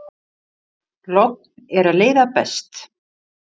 Logn er leiða best.